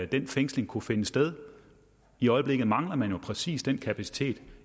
den fængsling kunne finde sted i øjeblikket mangler man jo præcis den kapacitet